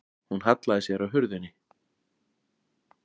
Hún hallaði sér að hurðinni.